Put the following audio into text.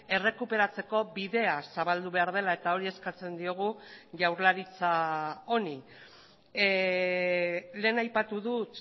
errekuperatzeko bidea zabaldu behar dela eta hori eskatzen diogu jaurlaritza honi lehen aipatu dut